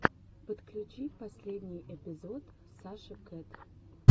подключи последний эпизод саши кэт